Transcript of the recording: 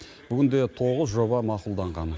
бүгінде тоғыз жоба мақұлданған